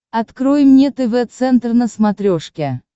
открой мне тв центр на смотрешке